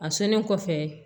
A sɔnnen kɔfɛ